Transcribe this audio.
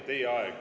Teie aeg!